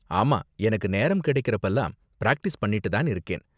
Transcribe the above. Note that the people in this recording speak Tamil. ஆமா, எனக்கு நேரம் கிடைக்குறப்பலாம் பிராக்டிஸ் பண்ணிட்டு தான் இருக்கேன்.